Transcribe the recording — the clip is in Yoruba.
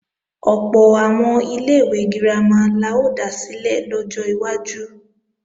Ọ̀pọ̀ àwọn ilé-ìwé girama la ó dá sílẹ̀ lọ́jọ́ iwájú